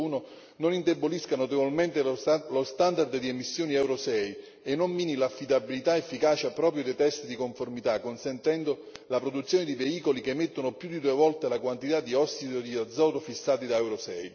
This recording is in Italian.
2.1 non indebolisca notevolmente lo standard di emissioni Euro 6 e non mini l'affidabilità ed efficacia proprio dei test di conformità, consentendo la produzione di veicoli che emettono più di due volte la quantità di ossido di ozono fissati da Euro